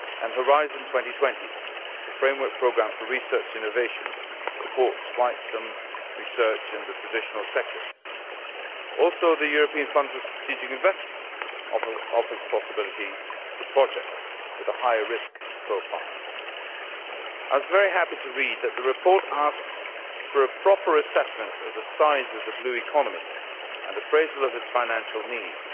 and Horizon 2020, the Framework Programme for Research Innovation, supports a considerable amount of research in the traditional sectors. The European Fund for Strategic Investments also offers possibilities for projects with a higher risk profile. I was very happy to read that the report asks for a proper assessment of the size of the Blue Economy and appraisal of its financial needs.